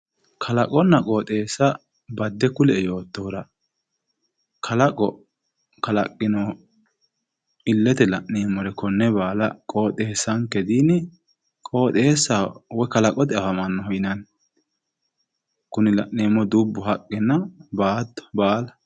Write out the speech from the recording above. kalaqonna qooxeessa badde kulie yoottohura kalaqo kalaqino illete la'neemmore konne baala qooxeessanke dini kalaqote afammanno qooxeessaho yinanni kuni la'neemmohu dubbu haqqe baala